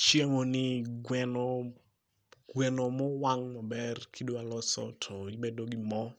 Chiemo ni gweno, gweno mowang' maber kidwa loso to ibedo gi moo